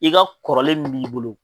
I ka kɔrɔlen mun b'i bolo